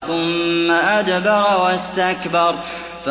ثُمَّ أَدْبَرَ وَاسْتَكْبَرَ